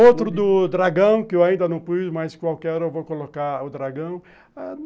Outro do Dragão, que eu ainda não pus, mas qualquer hora vou colocar o Dragão.